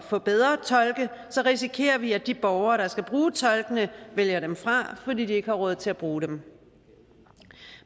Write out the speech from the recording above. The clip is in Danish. få bedre tolke risikerer vi at de borgere der skal bruge tolkene vælger dem fra fordi de ikke har råd til at bruge dem